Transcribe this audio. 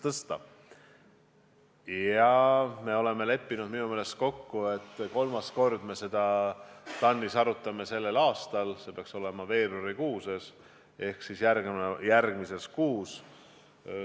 Minu meelest me oleme leppinud kokku, et kolmandat korda me arutame seda TAN-is sellel aastal, see peaks toimuma veebruaris ehk järgmisel kuul.